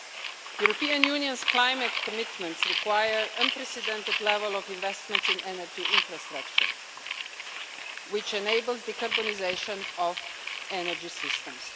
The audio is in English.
The European Union's climate commitments require an unprecedented level of investment in energy infrastructure which enables decarbonisation of energy systems.